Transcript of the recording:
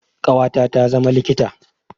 Ƙawata ta zama likita.